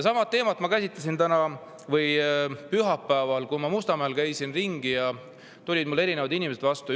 Sama teemat sai käsitletud pühapäeval, kui käisin Mustamäel ringi ja mulle tulid inimesed vastu.